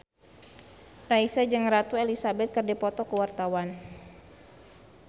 Raisa jeung Ratu Elizabeth keur dipoto ku wartawan